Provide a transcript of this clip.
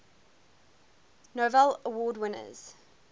novello award winners